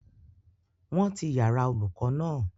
Wọ́n ti yàrá-olùkọ́ náà